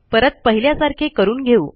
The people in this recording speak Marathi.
परत पहिल्यासारखे करून घेऊ